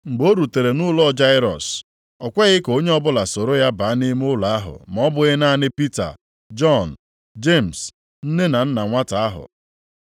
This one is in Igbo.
Mgbe o rutere nʼụlọ Jairọs, o kweghị ka onye ọbụla soro ya baa nʼime ụlọ ahụ ma ọ bụghị naanị Pita, Jọn, Jemis, nne na nna nwata ahụ.